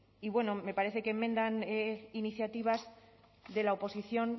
y bueno me parece que enmiendan iniciativas de la oposición